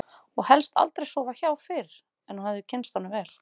Og helst aldrei að sofa hjá fyrr en hún hefði kynnst honum vel.